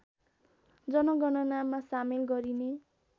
जनगणनामा सामेल गरिने